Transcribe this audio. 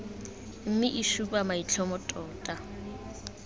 mme e supa maitlhomo tota